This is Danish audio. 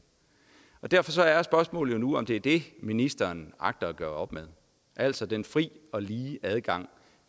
derfor er spørgsmålet jo nu om det er det ministeren agter at gøre op med altså den frie og lige adgang